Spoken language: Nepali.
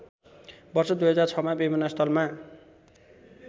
वर्ष २००६मा विमानस्थलमा